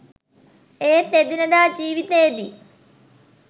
ඒත් එදිනෙදා ජීවිතේදී